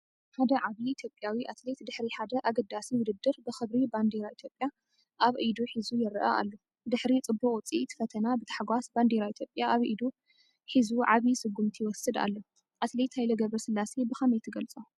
ሓደ ዓብዪ ኢትዮጵያዊ ኣትሌት ድሕሪ ሓደ ኣገዳሲ ውድድር ብኽብሪ ባንዴራ ኢትዮጵያ ኣብ ኢዱ ሒዙ ይረአ ኣሎ። ድሕሪ ጽቡቕ ውጽኢት ፈተና ብታሕጓስ ባንዴራ ኢትዮጵያ ኣብ ኢዱ ሒዙ ዓቢ ስጉምቲ ይወስድ ኣሎ። ኣትሌት ሃይሌ ገብረስላሴ ብኸመይ ትገልፆ?